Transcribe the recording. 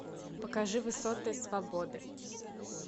покажи высоты свободы